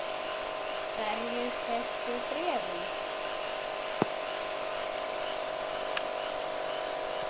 Hverjir keyptu bréfin?